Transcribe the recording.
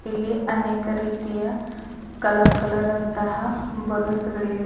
ಇಲ್ಲಿ ಅನೇಕ ರೀತಿಯ ಕಲರ್ ಕಲರ್ ಅಂತಹ ಬಲೂನ್ಸ್ ಗಳಿವೆ.